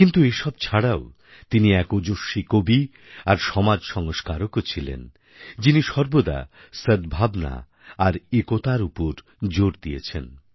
কিন্তু এসব ছাড়াও তিনি এক ওজস্বী কবি আর সমাজ সংস্কারকও ছিলেন যিনি সর্বদা সদ্ভাবনা আর একতার উপর জোর দিয়েছেন